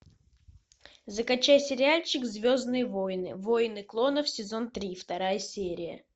закачай сериальчик звездные войны войны клонов сезон три вторая серия